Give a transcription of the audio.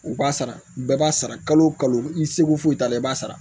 U b'a sara bɛɛ b'a sara kalo o kalo i seko t'a la i b'a sara